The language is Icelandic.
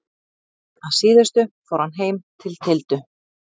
Að síðustu fór hann heim til Tildu.